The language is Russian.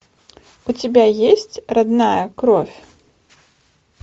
у тебя есть родная кровь